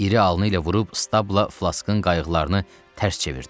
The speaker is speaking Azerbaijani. İri alnı ilə vurub Stabla Flaskın qayıqlarını tərs çevirdi.